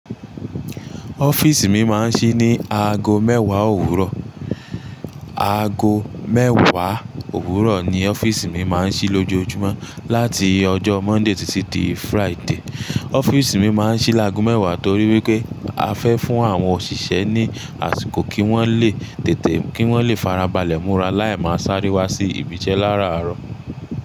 Office mi máa ń ṣí ní aago mẹ́wàá òwúrọ̀. Aago mẹ́wàá òwúrọ̀ ni office mi máa ń ṣí lójoojúmọ́ láti ọjọ́ Monday títí dé Friday. Office mi máa ń ṣí láàgú mẹ́wàá torí wípé a fẹ́ fún àwọn òṣìṣẹ́ ní àsìkò kí wọ́n lè tètè kí wọ́n lè farabalẹ̀ múra láì máa sáré wá sí ibi iṣẹ́ láràárọ̀.